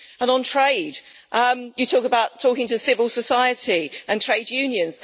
On trade you talk about talking to civil society and trade unions.